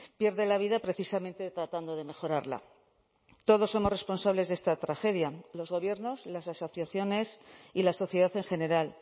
pierde la vida precisamente tratando de mejorarla todos somos responsables de esta tragedia los gobiernos las asociaciones y la sociedad en general